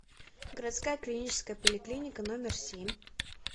городская клиническая поликлиника номер семь